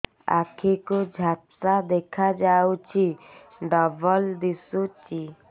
ଆଖି କୁ ଝାପ୍ସା ଦେଖାଯାଉଛି ଡବଳ ଦିଶୁଚି